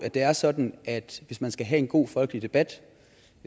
det er sådan at hvis man skal have en god folkelig debat